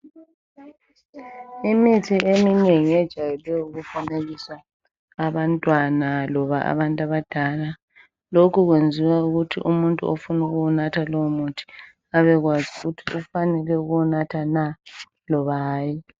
Imithi eminengi ijayele ukufanekisa abantwana loba abantu abadala lokhu kwenziwa ukuthi ofuna ukuwunatha lowo muthi abekwazi ukuthi ufanele ukuwunatha na loba hayi.